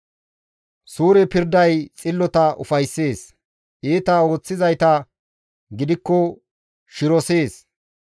Suure pirday xillota ufayssees; iita ooththizayta gidikko shirosees.